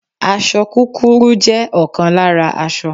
Aṣọ kúkúrú jẹ́ ọ̀kan lára aṣọ